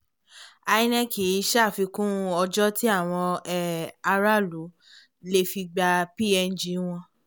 inec ṣàfikún ọjọ́ tí àwọn um aráàlú lè fi gbapng wọn